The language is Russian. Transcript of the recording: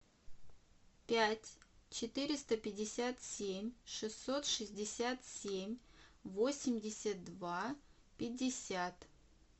пять четыреста пятьдесят семь шестьсот шестьдесят семь восемьдесят два пятьдесят